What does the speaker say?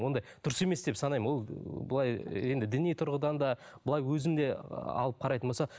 ондай дұрыс емес деп санаймын ол ы былай енді діни тұрғыдан да былай өзің де ыыы алып қарайтын болса